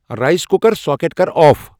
Rice cooker socket کر off.